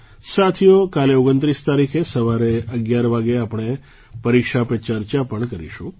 સાથીઓ કાલે 2૯ તારીખે સવારે 11 વાગે આપણે પરીક્ષા પે ચર્ચા પણ કરીશું